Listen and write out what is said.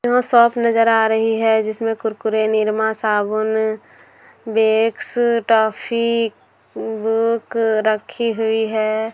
हाँ वह शॉप नजर आ रही है जिसमें कुरकुरे निरमा साबुन वैक्स टॉफी बुक रखी हुई है।